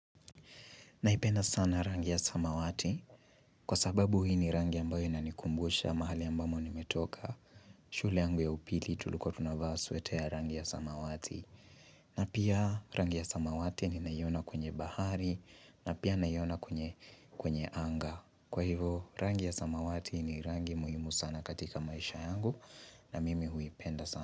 Naipenda sana rangi ya samawati, kwa sababu hii ni rangi ambayo inanikumbusha mahali ambamo nimetoka. Shule yangu ya upili tulilkuwa tunavaa sweta ya rangi ya samawati. Na pia, rangi ya samawati ninaiona kwenye bahari na pia naiona kwenye anga. Kwa hivo, rangi ya samawati ni rangi muhimu sana katika maisha yangu na mimi huipenda sana.